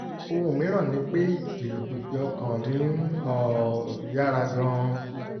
ohun mìíràn ni pé ìlùpìpì ọkàn mi ń um yára gan-an